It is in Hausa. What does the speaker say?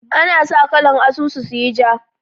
Ana sa kalan asusu su yi ja